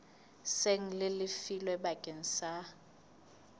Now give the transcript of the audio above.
seng le lefilwe bakeng sa